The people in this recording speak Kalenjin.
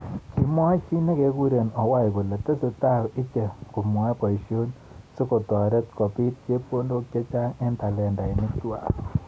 kimwa chi nekekure Owae kole tesetai icheket kwoe boishet sikotoret kobit chepkondok chechang eng talentinik kwak.